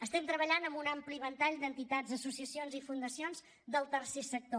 estem treballant amb un ampli ventall d’entitats associacions i fundacions del tercer sector